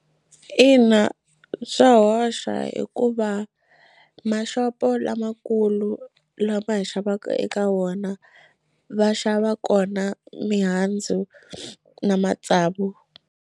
Ina swa hoxa hikuva maxopo lamakulu lama hi xavaka eka wona va xava kona mihandzu na matsavu.